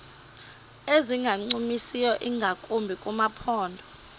ezingancumisiyo ingakumbi kumaphondo